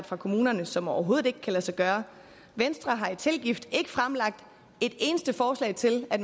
fra kommunerne som overhovedet ikke kan lade sig gøre venstre har i tilgift ikke fremlagt et eneste forslag til at